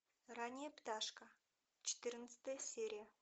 ранняя пташка четырнадцатая серия